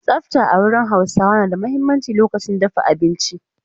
Tsafta a wurin Hausawa na da muhimmanci lokacin dafa abinci.